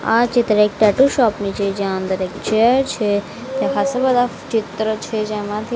આ ચિત્ર એક ટેટુ શોપ ની છે જ્યાં અંદર એક ચેર છે ત્યાં ખાસ્સા બધા ચિત્ર છે જેમાંથી--